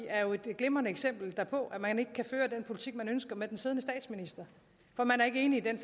er jo et glimrende eksempel på at man ikke kan føre den politik man ønsker med den siddende statsminister for man er ikke enig i den